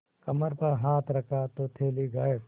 कमर पर हाथ रखा तो थैली गायब